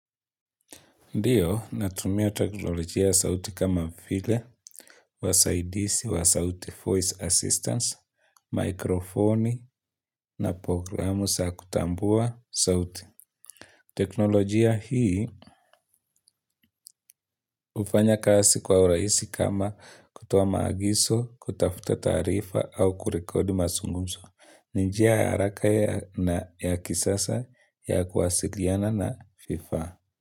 Ndiyo, natumia teknolojia ya sauti kama vile, wasaidisi wa sauti voice assistance, mikrofoni na programu sa kutambua sauti. Teknolojia hii ufanya kasi kwa uraisi kama kutoa maagiso, kutafuta taarifa au kurekodi masungumso. Ni njia ya haraka ya na kisasa ya kuwasiliana na vifaa.